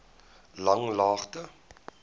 langlaagte